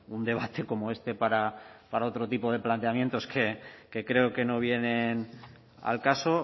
un debate como este para otro tipo de planteamientos que creo que no vienen al caso